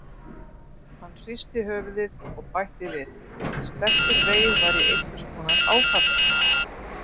Hann hristi höfuðið og bætti við: Stelpugreyið var í einhvers konar áfalli.